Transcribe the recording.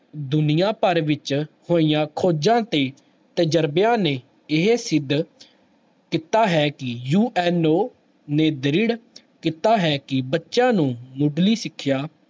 ਦੁਨੀਆਂ ਭਰ ਵਿੱਚ ਹੋਈਆਂ ਖੋਜਾਂ ਤੇ ਤਜ਼ਰਬਿਆਂ ਨੇ ਇਹ ਸਿੱਧ ਕੀਤਾ ਹੈ ਕਿ UNO ਨੇ ਦ੍ਰਿੜ ਕੀਤਾ ਹੈ ਕਿ ਬੱਚਿਆਂ ਨੂੰ ਮੁੱਢਲੀ ਸਿੱਖਿਆ